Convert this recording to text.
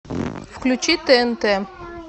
включи тнт